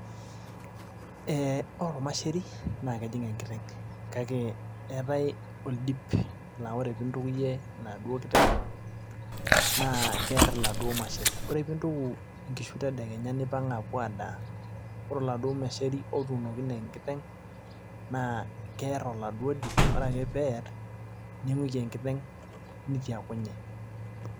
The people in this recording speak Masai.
ee ore olmasheri naa kejing; enkiteng' kake eetae ol dip na ore pee intukuyie enaduoo kiteng naa keer iladuoo masher, ore pee intuku, inkishu tedekenya nipang' aapuo adaa. ore oladuo masheri otuunokine enkiteng, naa keer oladuo dip ore ekae pper ning'uiki enkiteng' nitiakunye.